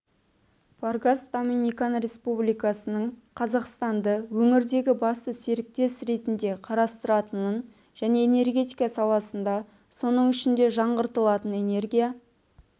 варгас доминикан республикасының қазақстанды өңірдегі басты серіктес ретінде қарастыратынын және энергетика саласындағы соның ішінде жаңғыртылатын энергия